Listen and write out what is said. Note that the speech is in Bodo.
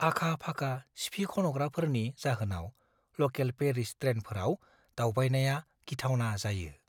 आखा-फाखा सिफिखन'ग्राफोरनि जाहोनाव लकेल पेरिस ट्रेनफोराव दावबायनाया गिथावना जायो।